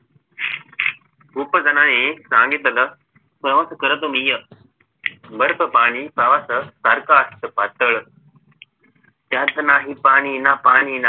खूप जणांनी सांगितलं प्रवास करतो मी असो बर्फ पाणी प्रवासासारखं असत पातळ त्यात नाही पाणी ना पाणी